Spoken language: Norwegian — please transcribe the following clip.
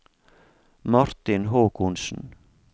Martin Håkonsen